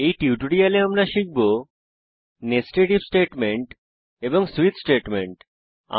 এই টিউটোরিয়ালে আমরা শিখব কিভাবে নেস্টেড ইফ স্টেটমেন্ট এবং সুইচ স্টেটমেন্ট ব্যবহার করে